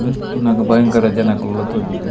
ಉಂದು ತೂನಗ ಭಯಂಕರ ಜನೊಕುಲು .]